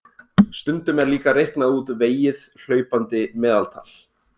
Stundum er líka reiknað út vegið hlaupandi meðaltal.